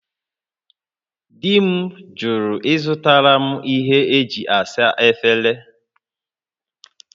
Di m jụrụ ịzụtara m ihe e ji asa efere